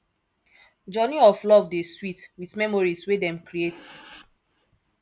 journey of love dey sweet with memories wey dem create